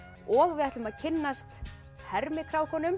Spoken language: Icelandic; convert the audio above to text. og við ætlum að kynnast